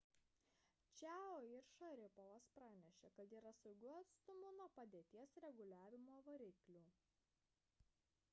čiao ir šaripovas pranešė kad yra saugiu atstumu nuo padėties reguliavimo variklių